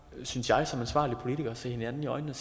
synes jeg som ansvarlige politikere se hinanden i øjnene og